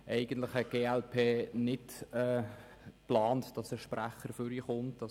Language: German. Eigentlich hat die glp-Fraktion nicht geplant, dass ein Sprecher ans Rednerpult tritt.